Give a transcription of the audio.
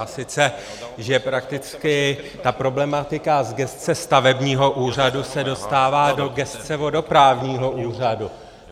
A sice že prakticky ta problematika z gesce stavebního úřadu se dostává do gesce vodoprávního úřadu.